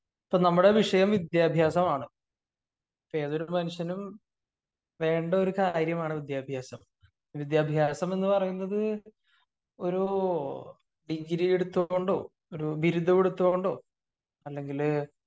ഇപ്പോ നമ്മുടെ വിഷയം വിദ്യാഭ്യാസമാണ്. ഏതൊരു മനുഷ്യനും വേണ്ട ഒരു കാര്യമാണ് വിദ്യാഭ്യാസം. വിദ്യാഭ്യാസം എന്ന് പറയുന്നത് ഒരു ഡിഗ്രീ എടുത്തത് കൊണ്ടോ ബിരുദമെടുത്തത് കൊണ്ടോ അല്ലെങ്കില്